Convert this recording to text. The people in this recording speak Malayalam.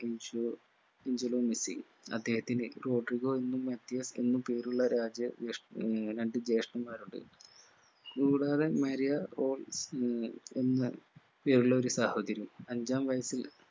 ഇൻഷിയോ ആഞ്ചലോ മെസ്സി അദ്ദേഹത്തിന് റോഡ്രിഗോ എന്നും മധ്യ എന്നും പേരുള്ള രാജ്യ ജേഷ് ആഹ് രണ്ട്‌ ജേഷ്ടൻമാരുണ്ട് കൂടാതെ മരിയ ഏർ എന്ന് പേരുള്ള ഒരു സഹോദരിയും. അഞ്ചാം വയസ്സിൽ